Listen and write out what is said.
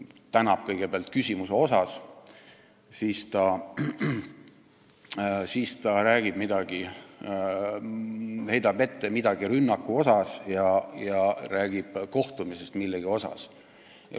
Ta tänab kõigepealt küsimuse osas, siis ta räägib midagi, heidab ette midagi rünnaku osas ja annab teada kohtumisest millegi osas.